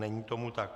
Není tomu tak.